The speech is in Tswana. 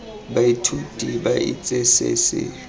baithuti ba itse se se